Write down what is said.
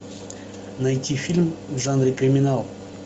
найти фильм в жанре криминал